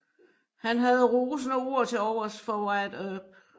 Han havde rosende ord til overs for Wyatt Earp